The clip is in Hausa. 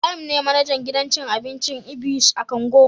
Ibrahim ne manajan gidan cin abinci "ibys " a Kongo